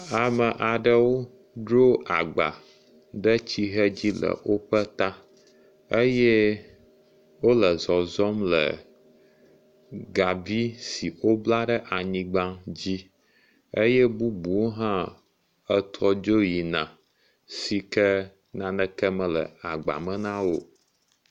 Ame aɖewo dzro agba ɖe tsihɛ dzi le woƒe ta eye wole zɔzɔm le gabi si wobla ɖe anyigba dzi eye bubuwo hã trɔ dzo yina si ke naneke mele agba me na wo o.